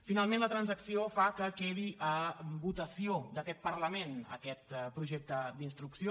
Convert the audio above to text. finalment la transacció fa que quedi a votació d’aquest parlament aquest projecte d’instrucció